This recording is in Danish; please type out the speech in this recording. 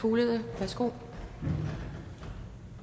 fuglede værsgo